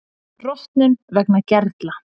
Rotnun vegna gerla